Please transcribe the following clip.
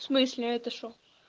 в смысле это что